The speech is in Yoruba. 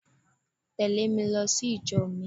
Tèlé mi lo sí ìjo mi